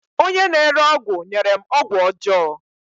Onye na-ere ọgwụ nyere m ọgwụ ọjọọ